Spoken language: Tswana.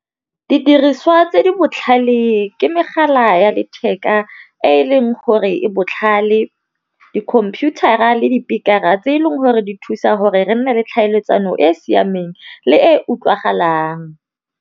Di diriswa tse di botlhale ke megala ya letheka e leng gore e botlhale, dikhomputara le dipikara tse e leng gore di thusa gore re nne le tlhaeletsano e e siameng le e utlwagalang.